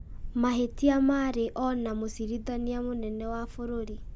Mahĩtia marĩ o na mũcirithania mũnene wa bũrũri.